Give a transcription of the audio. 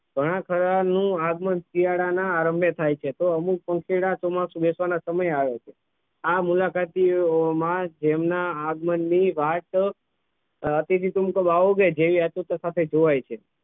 ઘણાખરા નું આગમન શિયાળાના આરંભે થાય છે તો અમુક પંખીડા ચોમાસું બેસવાના સમયે આવે છે આ મુલાકાતી ઑમાં જેમના આગમન ની વાટ અતિથી તુમ કબ આવોગે જેવી આતુરતા સાથે જોવાય છે